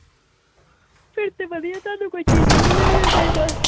ਫੇਰ ਤੇ ਵਧੀਆ ਤੁਹਾਨੂੰ ਕੋਈ ਚੀਜ਼ ਵੀ ਨਹੀਂ ਲਿਉਣੀ ਪਈ ਬਸ ਬਸ